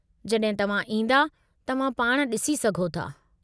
जड॒हिं तव्हां ईंदा, तव्हां पाण डि॒सी सघो था।